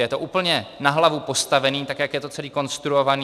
Je to úplně na hlavu postavené, tak jak je to celé konstruované.